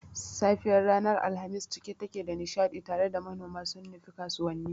safiyar ranar Alhamis cike take da nishadi tare da manoma sun nufi kasuwanni.